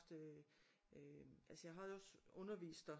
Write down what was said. Haft øh altså jeg har også undervist der